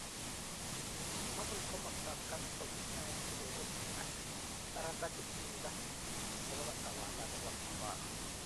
Kobun komastab Castro kitai kelelet ak parrat ak timndo nebo kotawalan nebo Havana.